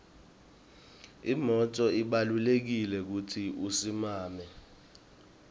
umnotfo ubalulekile kutsi usimame